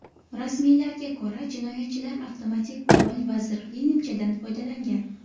Rasmiylarga ko‘ra, jinoyatchilar avtomatik qurol va zirhli nimchadan foydalangan.